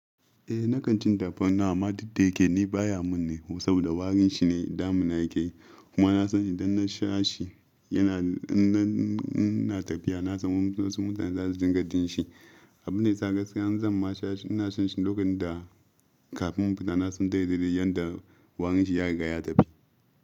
Eh, nakan cin tafarnuwa amma dukdayake ni baya mun ne saboda warin shi ne damuna yake. Kuma na san idan na sha shi yana, in na tafiya na san wasu mutane za su jinka jin shi. Abunda yasa gaskiya in zan ma sha shi ina shan shi lokacin da kafin infitana san daidaye yanda warin shi ya ri gaya ta fi.